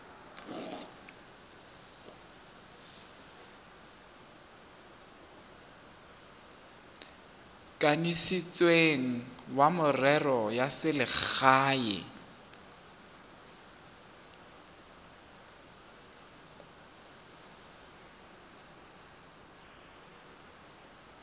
kanisitsweng wa merero ya selegae